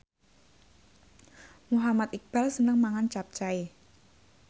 Muhammad Iqbal seneng mangan capcay